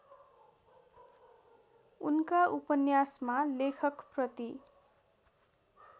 उनका उपन्यासमा लेखकप्रति